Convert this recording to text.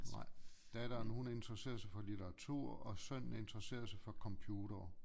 Nej datteren hun interesserer sig for litteratur og sønnen interesserer sig for computere